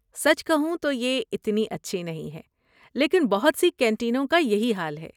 سچ کہوں تو یہ اتنی اچھی نہیں ہے، لیکن بہت سی کینٹینوں کا یہی حال ہے۔